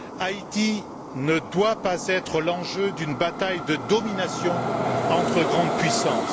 Haïti ne doit pas être l'enjeu d'une bataille de domination entre grandes puissances.